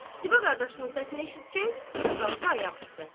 Ziba qardaşının səsini eşidəcək, dik qalxdı ayaq üstə.